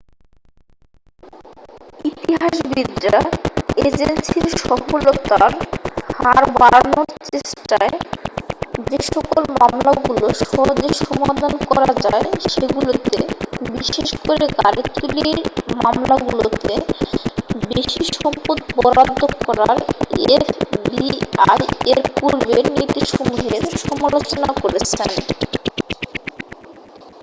ইতিহাসবিদরা এজেন্সীর সফলতার হার বাড়ানোর চেষ্টায় যেসকল মামলাগুলো সহজেই সমাধান করা যায় সেগুলোতে বিশেষ করে গাড়ি চুরির মামলাগুলোতে বেশি সম্পদ বরাদ্ধ করার এফবিআই এর পূর্বের নীতিসমূহের সমালোচনা করেছেন